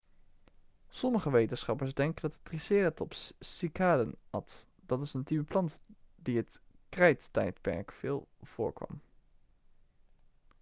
sommige wetenschappers denken dat de triceratops cycaden at dat is een type plant die het krijttijdperk veel voorkwam